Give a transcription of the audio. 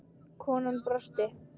Konan brosti.